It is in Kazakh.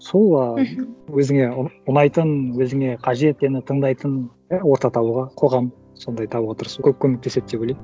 сол ы мхм өзіңе ұнайтын өзіңе қажет сені тыңдайтын иә орта табуға қоғам сондай табуға тырысу көп көмектеседі деп ойлаймын